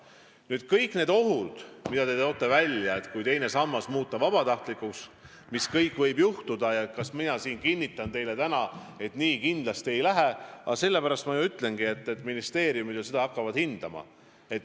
Nüüd, kõik need ohud, mis te välja tõite – mis kõik võib juhtuda, kui teine sammas muuta vabatahtlikuks –, ja see küsimus, kas ma kinnitan teile täna, et nii kindlasti ei lähe, siis ma ju ütlesin, et ministeeriumid alles hakkavad seda hindama.